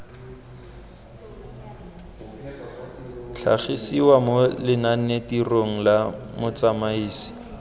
tlhagisiwa mo lenanetirong la motsamaisi